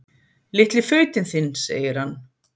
Litli fautinn þinn, segir hann.